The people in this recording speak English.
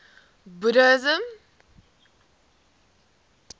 buddhism